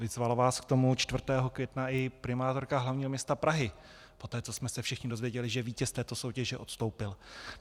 Vyzvala vás k tomu 4. května i primátorka hlavního města Prahy poté, co jsme se všichni dozvěděli, že vítěz této soutěže odstoupil.